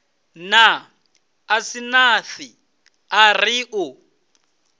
na asnath a ri u